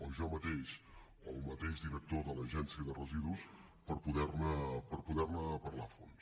o jo mateix o el mateix director de l’agència de residus per poder ne parlar a fons